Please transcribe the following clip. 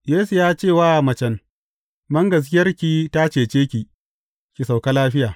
Yesu ya ce wa macen, Bangaskiyarki ta cece ki, ki sauka lafiya.